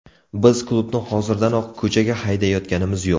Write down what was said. Biz klubni hozirdanoq ko‘chaga haydayotganimiz yo‘q.